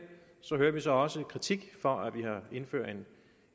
hører vi så også kritik for at vi indfører